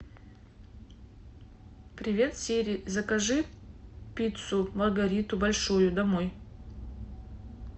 привет сири закажи пиццу маргариту большую домой